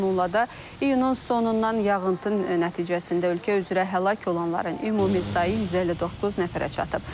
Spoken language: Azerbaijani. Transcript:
Bununla da iyunun sonundan yağıntı nəticəsində ölkə üzrə həlak olanların ümumi sayı 159 nəfərə çatıb.